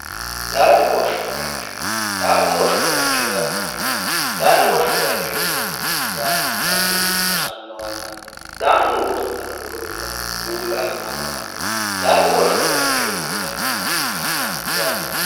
daaimuho shobayicho daaimuho shobayicho yaa ma yaate daaimoho shobayichootiinannihu daaimu callu hosannowanna daaimu godo'lannora godo'lanni uulla ha'ramannoha daaimuho sho bayicho yinanniha ikkanna yaate